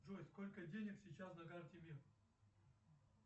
джой сколько денег сейчас на карте мир